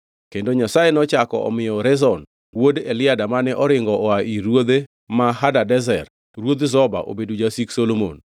Kendo Nyasaye nochako omiyo Rezon wuod Eliada mane oringo oa ir ruodhe ma Hadadezer ruoth Zoba obedo jasik Solomon.